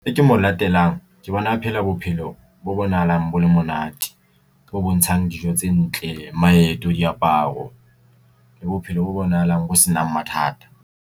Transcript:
E ke mo latelang ke bona a phela bophelo bo bonahalang bo le monate bo bontshang dijo tse ntle, maeto, diaparo le bophelo bo bonahalang bo senang mathata.